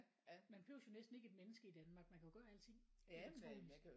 Man behøves jo næsten ikke et menneske i Danmark man kan jo gøre alting elektronisk